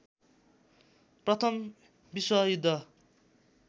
प्रथम विश्व युद्ध